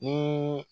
Ni